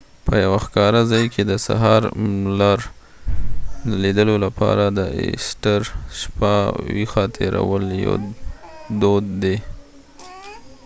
په یوه ښکاره ځای کې د سهار لمر لیدلو لپاره د ایسټر شپه ویښه تېرول یو دود دی